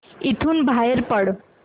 इथून बाहेर पड